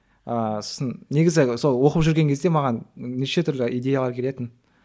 ыыы сосын негізі сол оқып жүрген кезде маған неше түрлі идеялар келетін